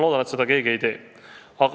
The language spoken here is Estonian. Loodan, et seda keegi ei tee.